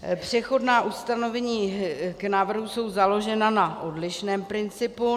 Přechodná ustanovení k návrhu jsou založena na odlišném principu.